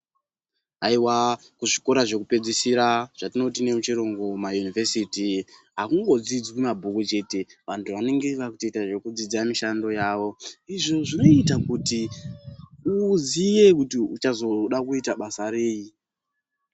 Haiwa kuzvikora zvekupedzisira zvatinoti nemuchirungu mayunivhesiti, hakungodzidzwi mabhuku chete. Vantu vanenge vakutoita zvekudzidza mishando yavo. Izvo zvinoiita kuti uziye kuti uchazoda kuita basa rei.